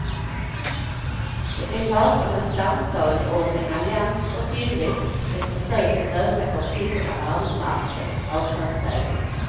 Det är parternas samtal om en allians för tillväxt, ett försök att lösa konflikterna på arbetsmarknaden avtalsvägen.